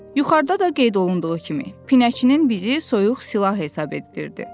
Yuxarıda da qeyd olunduğu kimi, Pinəçinin bizi soyuq silah hesab etdirdi.